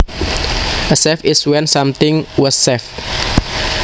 A save is when something was saved